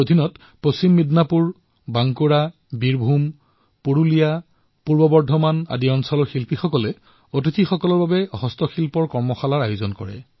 ইয়াত পশ্চিম মিদনাপুৰ বাংকুৰা বীৰভূম পুৰলিয়া পূব বৰ্ধমান আদিৰ হস্তশিল্প কলাকাৰসকলে দৰ্শনাৰ্থীসকলৰ বাবে হস্ততাঁত কৰ্মশালাৰ আয়োজন কৰিলে